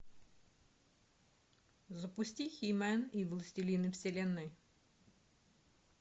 запусти хи мен и властелины вселенной